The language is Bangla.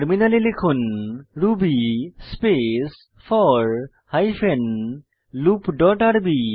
টার্মিনালে লিখুন Ruby space four hyphen loop dot আরবি